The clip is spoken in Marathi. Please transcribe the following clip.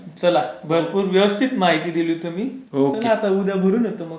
चला भरपूर व्यवस्थित माहिती दिली तुम्ही चला आता उद्या बोलू नाहीतर आपण.